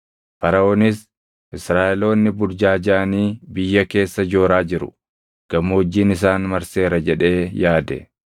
Faraʼoonis, ‘Israaʼeloonni burjaajaʼanii biyya keessa jooraa jiru; gammoojjiin isaan marseera’ jedhee yaade.